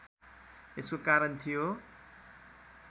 यसको कारण थियो